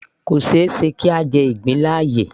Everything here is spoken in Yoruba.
Kò ṣeéṣe kí a jẹ ìgbín láàyè